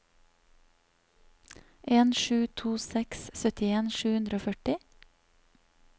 en sju to seks syttien sju hundre og førti